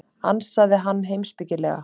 ansaði hann heimspekilega.